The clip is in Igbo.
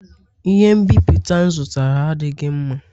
Ihe nbipute m zụtara adịghị mma